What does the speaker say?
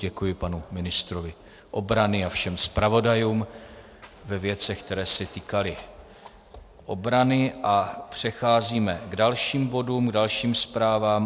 Děkuji panu ministrovi obrany a všem zpravodajům ve věcech, které se týkaly obrany, a přecházíme k dalším bodům, k dalším zprávám.